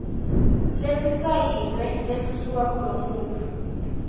lesisayiniwe lesisuka kulomuntfu